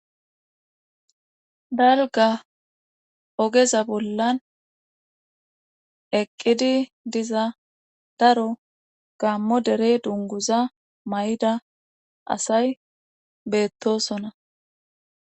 Dalga ogeza bollan eqqidi diza daro gammo derey dunguza may'ida asay beettosona.